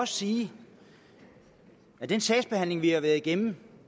sige at den sagsbehandling vi har været igennem